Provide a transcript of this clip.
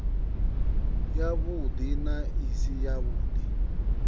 yavhudi na i si yavhudi